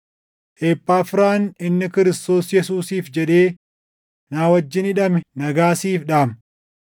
Ephaafiraan inni Kiristoos Yesuusiif jedhee na wajjin hidhame nagaa siif dhaama.